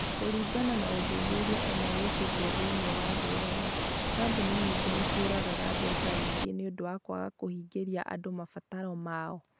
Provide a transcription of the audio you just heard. Kũringana na ũthuthuria ũmwe wĩkĩtwo thĩinĩ wa thĩ yothe, kambuni nyingĩ nĩ ciũragaga mbeca nyingĩ nĩ ũndũ wa kwaga kũhingĩria andũ mabataro mao.